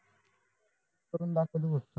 करून दाखव तु फक्त